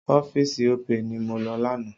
Ọ́fíìsì Opay ni mo lọ lánàá.